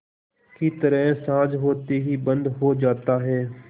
की तरह साँझ होते ही बंद हो जाता है